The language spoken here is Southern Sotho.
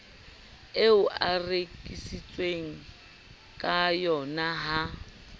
eo a reheletsweng kayona ha